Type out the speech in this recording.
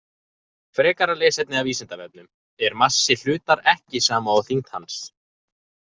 Frekara lesefni af Vísindavefnum: Er massi hlutar ekki sama og þyngd hans?